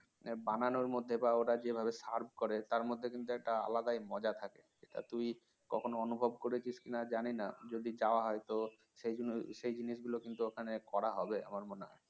বানানোর মধ্যে বা ওরা যেভাবে serve করে তার মধ্যে কিন্তু একটা আলাদাই মজা থাকে সেটা তুই কখনও অনুভব করেছি কি না জানি না যদি যাওয়া হয় তো সেই জিনিসগুলো কিন্তু ওখানে করা হবে আমার মনে হয়